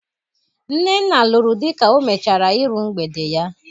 Nnenna lụrụ di ka o mecahara iru mgbede ya.